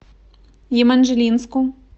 еманжелинску